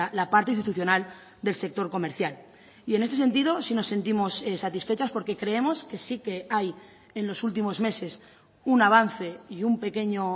la parte institucional del sector comercial y en este sentido sí nos sentimos satisfechas porque creemos que sí que hay en los últimos meses un avance y un pequeño